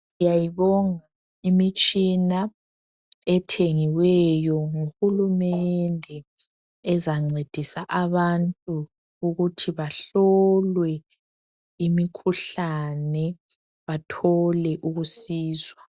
Siyayibonga imitshina ethengiweyo nguhulumende ezancedisa abantu ukuthi bahlolwe imikhuhlane bathole ukusizwa.